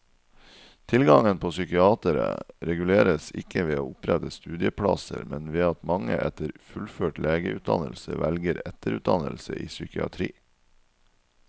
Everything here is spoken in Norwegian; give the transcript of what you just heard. Tilgangen på psykiatere reguleres ikke ved å opprette studieplasser, men ved at mange etter fullført legeutdannelse velger etterutdannelse i psykiatri.